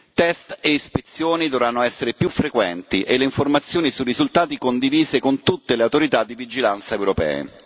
test e ispezioni dovranno essere più frequenti e le informazioni sui risultati condivise con tutte le autorità di vigilanza europee.